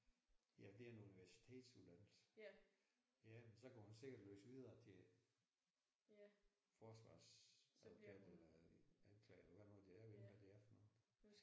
Ja det er en universitetsuddannelse. Ja men så kan hun sikkert læse videre til forsvarsadvokat eller anklager hvad det nu det er jeg ved ikke hvad det er for noget